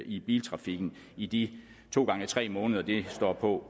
i biltrafikken i de to gange tre måneder det står på